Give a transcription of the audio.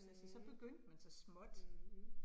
Mh, mh